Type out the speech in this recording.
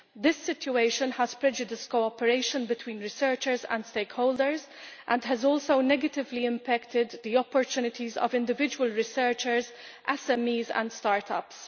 This situation has prejudiced cooperation between researchers and stakeholders and has also negatively impacted the opportunities of individual researchers, SMEs and start ups.